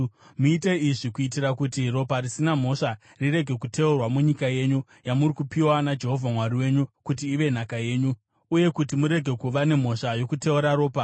Muite izvi kuitira kuti ropa risina mhosva rirege kuteurwa munyika yenyu, yamuri kupiwa naJehovha Mwari wenyu kuti ive nhaka yenyu, uye kuti murege kuva nemhosva yokuteura ropa.